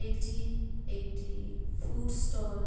এটি একটি food stall.